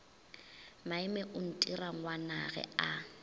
maime o ntira ngwanagwe a